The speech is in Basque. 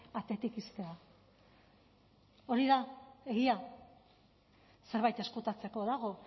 atetik ixtea hori da egia zerbait ezkutatzeko dago